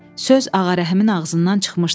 Söz Ağarəhimin ağzından çıxmışdı.